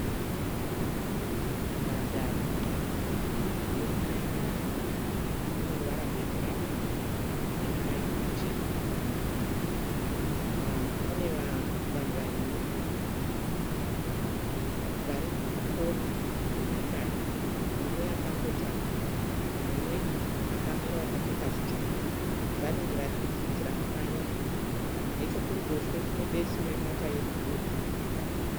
Nhandare yokumanyira. Ine ruvara rwebhurawuni namaraini machena. Pane vanhu vaviri vari kukona kwenhandare mumwe akakotama mumwe akamira wakapfeka zvitsvuku. Vanenge vari kudzidzira kumhanya. Nechekumberi kune besu remota yebhuruu ririkubuda.